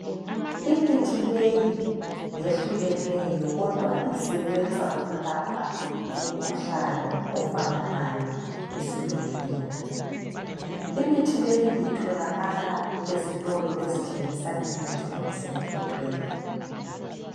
Imithi leyi ngehlukeneyo kodwa isebenza ukulapha umkhuhlane ofananayo isilungulela, imithi leyi itholakala ezitolo ezithengisa imithi ngokusemthethweni.